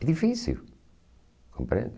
É difícil, compreende?